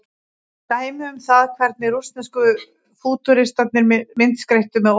dæmi um það hvernig rússnesku fútúristarnir myndskreyttu með orðum